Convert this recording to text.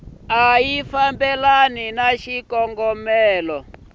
a ya fambelani ni xikongomelo